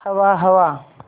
हवा हवा